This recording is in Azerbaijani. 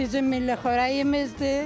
Bizim milli xörəyimizdir.